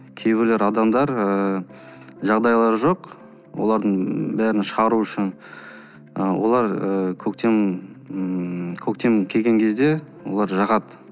кейбірлер адамдар ыыы жағдайлары жоқ олардың бәрін шығару үшін ы олар ы көктем ммм көктем келген кезде олар жағады